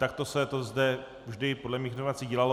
Takto se to zde vždy podle mých informací dělalo.